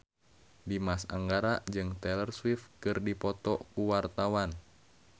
Dimas Anggara jeung Taylor Swift keur dipoto ku wartawan